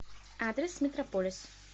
адрес метрополис